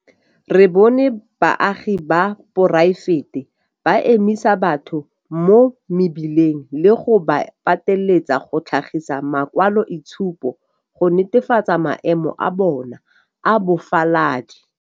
Re bone baagi ba poraefete ba emisa batho mo mebileng le go ba pateletsa go tlhagisa makwaloitshupo go netefatsa maemo a bona a bofaladi.